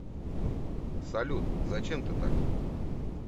салют зачем ты так